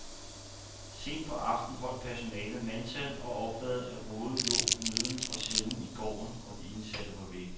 Sent på aftenen holdt personalet mandtal og opdagede, at ruden lå neden for cellen i gården, og de indsatte var væk.